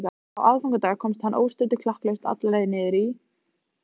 Á aðfangadag komst hann óstuddur klakklaust alla leið niður í